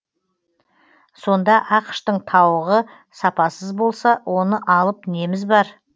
сонда ақш тың тауығы сапасыз болса оны алып неміз бар